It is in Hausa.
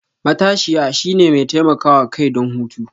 matashiya, shine mai taimakawa kai don hutu.